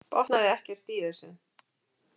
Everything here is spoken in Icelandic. Botnaði ekkert í þessu.